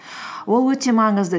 ол өте маңызды